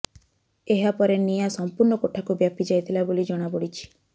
ଏହାପରେ ନିଆଁ ସମ୍ପୂର୍ଣ୍ଣ କୋଠାକୁ ବ୍ୟାପି ଯାଇଥିଲା ବୋଲି ଜଣାପଡ଼ିଛି